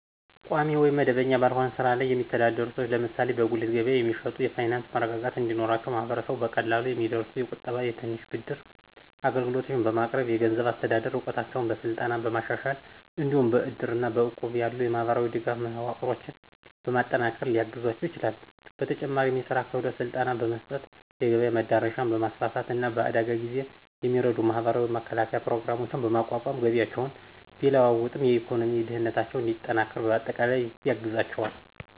ቋሚ ወይም መደበኛ ባልሆነ ሥራ ላይ የሚተዳደሩ ሰዎች (ለምሳሌ በጉሊት ገበያ የሚሸጡ) የፋይናንስ መረጋጋት እንዲኖራቸው ማህበረሰቡ በቀላሉ የሚደርሱ የቁጠባና የትንሽ ብድር አገልግሎቶችን በማቅረብ፣ የገንዘብ አስተዳደር እውቀታቸውን በስልጠና በማሻሻል፣ እንዲሁም በእድርና በእቁብ ያሉ የማህበራዊ ድጋፍ መዋቅሮችን በማጠናከር ሊያግዛቸው ይችላል፤ በተጨማሪም የሥራ ክህሎት ስልጠና በመስጠት፣ የገበያ መዳረሻን በማስፋፋት፣ እና በአደጋ ጊዜ የሚረዱ የማህበራዊ መከላከያ ፕሮግራሞችን በማቋቋም ገቢያቸው ቢለዋወጥም የኢኮኖሚ ደህንነታቸው እንዲጠናከር በአጠቃላይ ያግዛቸዋል።